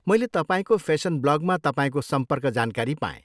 मैले तपाईँको फेसन ब्लगमा तपाईँको सम्पर्क जानकारी पाएँ।